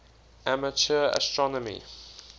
amateur astronomy